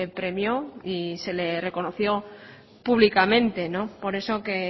premió y se le reconoció públicamente por eso que